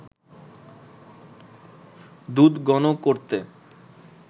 দুধ ঘন করতে